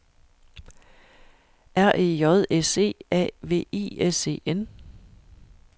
R E J S E A V I S E N